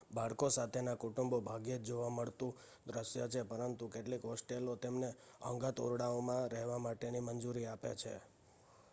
બાળકો સાથેના કુટુંબો ભાગ્યે જ જોવા મળતું દ્રશ્ય છે પરંતુ કેટલીક હોસ્ટેલો તેમને અંગત ઓરડાઓમાં રહેવા માટેની મંજૂરી આપે છે